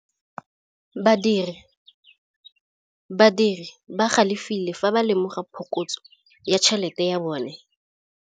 Badiri ba galefile fa ba lemoga phokotsô ya tšhelête ya bone.